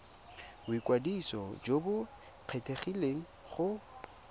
boikwadiso jo bo kgethegileng go